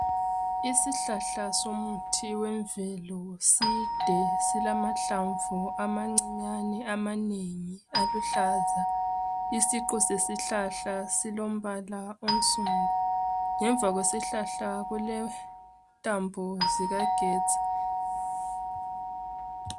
Isihlahla somuthi wemvelo side silamahlamvu amancinyane amanengi aluhlaza. Isiqu sesihlahla silombala onsundu. Ngemva kwesihlahla kulentambo zikagetsi.